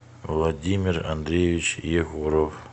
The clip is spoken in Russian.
владимир андреевич егоров